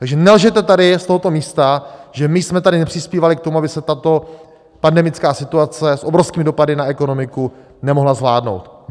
Takže nelžete tady z tohoto místa, že my jsme tady nepřispívali k tomu, aby se tato pandemická situace s obrovskými dopady na ekonomiku nemohla zvládnout.